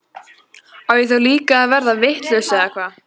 Á ég þá líka að verða vitlaus eða hvað?